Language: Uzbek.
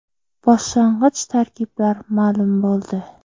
Boshlang‘ich tarkiblar ma’lum bo‘ldi.